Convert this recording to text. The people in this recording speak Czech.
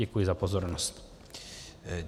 Děkuji za pozornost.